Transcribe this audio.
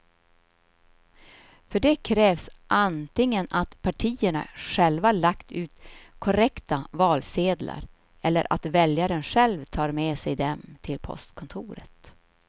För det krävs antingen att partierna själva lagt ut korrekta valsedlar eller att väljaren själv tar med sig dem till postkontoret.